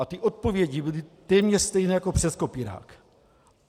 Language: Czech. A ty odpovědi byly téměř stejné jako přes kopírák.